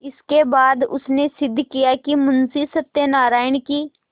इसके बाद उसने सिद्ध किया कि मुंशी सत्यनारायण की